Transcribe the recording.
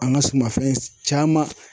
An ka sumanfɛn caman.